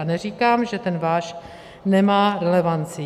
A neříkám, že ten váš nemá relevanci.